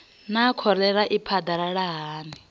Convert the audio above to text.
naa kholera i phadalala hani